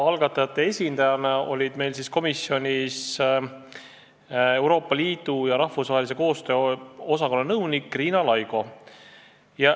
Algatajate esindajana oli komisjonis ministeeriumi Euroopa Liidu ja rahvusvahelise koostöö osakonna nõunik Riina Laigo.